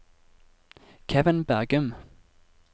Kevin Bergum